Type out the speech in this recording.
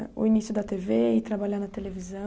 O início da tê vê e trabalhar na televisão?